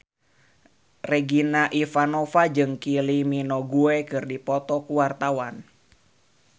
Regina Ivanova jeung Kylie Minogue keur dipoto ku wartawan